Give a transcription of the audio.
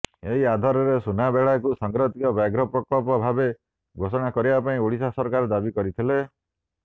ଏହି ଆଧାରରେ ସୁନାବେଡାକୁ ସଂରକ୍ଷିତ ବ୍ୟାଘ୍ର ପ୍ରକଳ୍ପ ଭାବେ ଘୋଷଣା କରିବା ପାଇଁ ଓଡ଼ିଶା ସରକାର ଦାବି କରିଥିଲେ